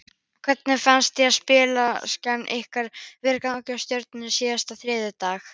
Hvernig fannst þér spilamennskan ykkar vera gegn Stjörnunni síðasta þriðjudag?